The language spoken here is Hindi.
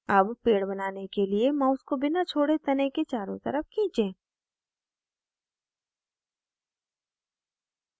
अब पेड़ बनाने के लिए mouse को बिना छोड़े तने के चारों तरफ खीचें